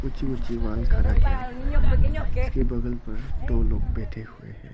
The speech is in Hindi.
ऊंची ऊंची वॉल खड़ा किया हुआ है उसके बगल पर दो लोग बैठे हुए हैं।